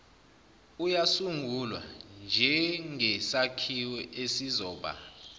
uyasungulwa njengsakhiwo esizoba